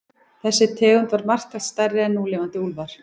Þessi tegund var marktækt stærri en núlifandi úlfar.